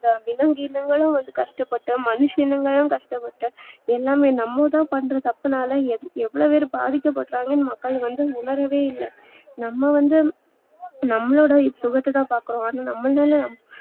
விலங்கிணங்களும் கஷ்டப்பட்டு மனுஷங்களும் கஷ்ட பட்டு எல்லாமே நம்மதா பண்ற தப்புனாலா எவ்ளோ பேரு பாதிக்க படுறாங்கனு மக்கள் வந்து உணரவே இல்ல நம்ம வந்து நம்மளோட சுகத்ததா பாக்குறோ